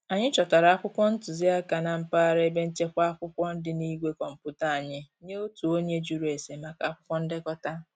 Anyị chọtara akwụkwọ ntụziaka na mpaghara ebe nchekwa akwụkwọ dị na igwe kọmputa anyị nye otu onye jụrụ ese maka akwụkwọ ndekọta